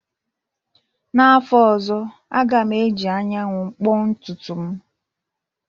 N'afọ ọzọ, a ga m eji anyanwụ kpoo ntutu m